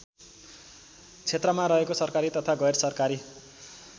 क्षेत्रमा रहेको सरकारी तथा गैरसरकारी